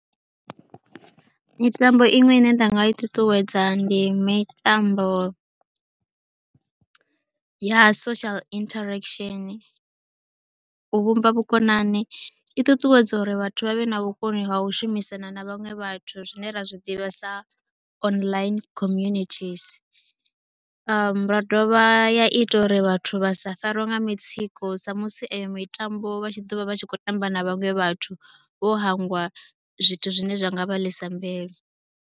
Mitambo iṅwe ine nda nga i ṱuṱuwedza ndi mitambo ya social interaction, u vhumba vhukonani, i ṱuṱuwedza uri vhathu vha vhe na vhukoni ha u shumisana na vhaṅwe vhathu zwine ra zwi ḓivha sa online community . Ya dovha ya ita uri vhathu vha sa fariwe nga mitsiko sa musi eyo mitambo vha tshi ḓo vha vha tshi khou tamba na vhaṅwe vhathu vho hangwa zwithu zwine zwi nga vha ḽisa mbilu.